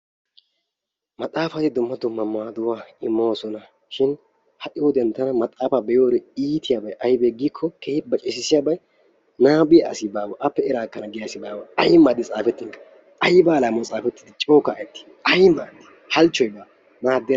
Maxaafay dumma dumma maaduwa immoosona shin ha"i wodiyan tana maxaafaa be"iyode iitiyabay aybee giikkoo keehi baceessissiyobayi nababiya asi baawa appe eraa ekkana giya asi baawa. Ayi maadoy xaafettinkka ayba alaamawu xaafettidi coo kaa"ettii ay maaddii halchchoy baa maaddenna.